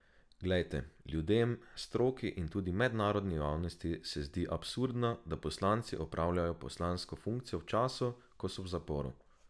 Glejte, ljudem, stroki in tudi mednarodni javnosti se zdi absurdno, da poslanci opravljajo poslansko funkcijo v času, ko so v zaporu.